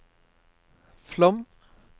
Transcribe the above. Flåm